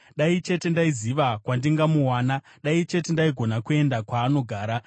Dai chete ndaiziva kwandingamuwana; dai chete ndaigona kuenda kwaanogara!